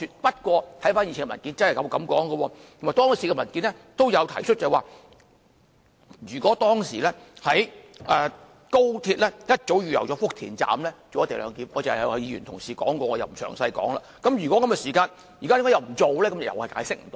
不過，回看以前的文件真的這樣說，而當時的文件亦提及，如果當時高鐵早已預留福田站做"一地兩檢"——有議員剛才指出了，我不詳述——如果是這樣的話，為何現在又不做呢？